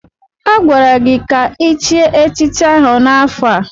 Agwara gị ka ichie echichi ahụ n'afọ a!